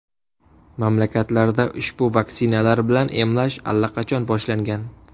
Mamlakatlarda ushbu vaksinalar bilan emlash allaqachon boshlangan.